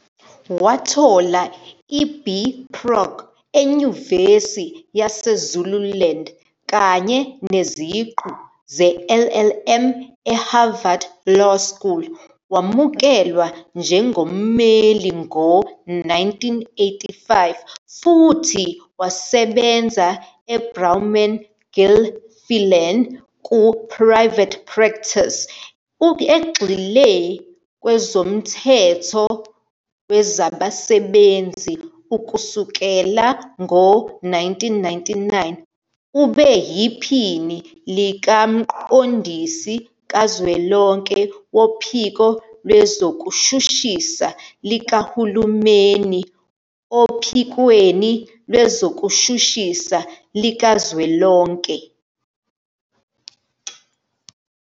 Wathola iB Proc eNyuvesi yaseZululand kanye neziqu zeLLM eHarvard Law School. Wamukelwa njengommeli ngo-1985 futhi wasebenza e-Bowman Gilfillan ku-private practice, egxile kwezomthetho wezabasebenzi. Kusukela ngo-1999 ube yiPhini likaMqondisi Kazwelonke Wophiko Lwezokushushisa Likahulumeni ophikweni Lwezokushushisa Likazwelonke.